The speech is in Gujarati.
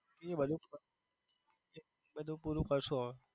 એ બધું ફ એ બધું પૂરું કરશુ હવે.